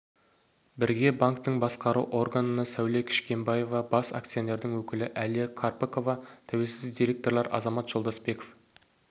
бірге банктің басқару органына сәуле кішкімбаева бас акционердің өкілі әлия қарпыкова тәуелсіз директорлар азамат жолдасбеков